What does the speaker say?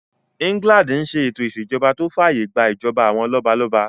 England n ṣe ètò ìṣèjọba tó fàyè gbà ìjọba àwọn lọ́balọ́ba